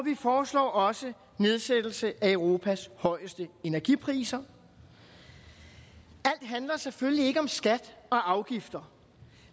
vi foreslår også en nedsættelse af europas højeste energipriser alt handler selvfølgelig ikke om skat og afgifter